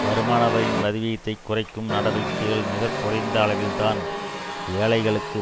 வருமானவரியின் வரிவிகிதத்தை குறைக்கும் நடவடிக்கைகள் மிக குறைந்த அளவில்தான் ஏழைகளுக்கு